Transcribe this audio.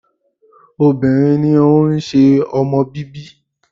Obìnrin ni ó ń ṣe ọmọ bíbí.